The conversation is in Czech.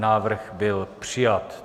Návrh byl přijat.